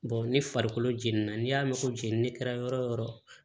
ni farikolo jenina n'i y'a mɛn ko jenini kɛra yɔrɔ yɔrɔ